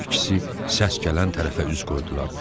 Hər ikisi səs gələn tərəfə üz qoydular.